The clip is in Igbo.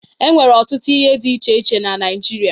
E nwere ọtụtụ ihe dị iche iche na Naịjirịa.